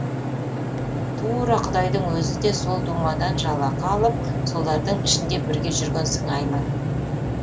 тура құдайдың өзі де сол думадан жалақы алып солардың ішінде бірге жүрген сыңайлы